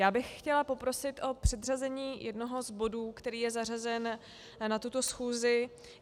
Já bych chtěla poprosit o předřazení jednoho z bodů, který je zařazen na tuto schůzi.